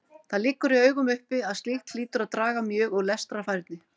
Það liggur í augum uppi að slíkt hlýtur að draga mjög úr lestrarfærni.